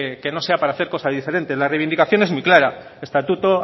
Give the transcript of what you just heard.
que no sea para cosa diferente la reivindicación es muy clara estatuto